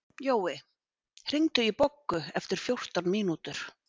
Jói, hringdu í Boggu eftir fjórtán mínútur.